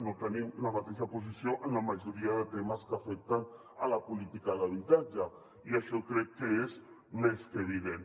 no tenim la mateixa posició en la majoria de temes que afecten la política d’habitatge i això crec que és més que evident